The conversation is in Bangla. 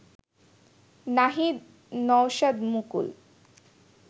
নাহিদ নওশাদমুকুল